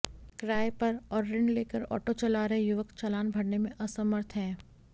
किराये पर और ऋण लेकर ऑटो चला रहे युवक चालान भरने में असमर्थ हैं